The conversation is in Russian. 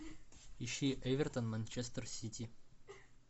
ищи эвертон манчестер сити